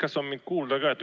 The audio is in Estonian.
Kas mind on kuulda ka?